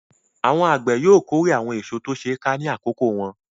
Àwọn àgbẹ̀ yóò kórè àwọn èso tó ti ṣe ká ní àkókò wọn.